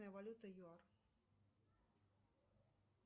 валюта юар